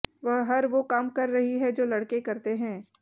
वह हर वो काम कर रही हैं जो लड़के करते हैं